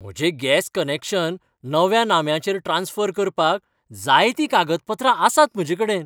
म्हजें gas connection नव्या नाम्याचेर ट्रांस्फर करपाक जाय तीं कागदपत्रां आसात म्हजेकडेन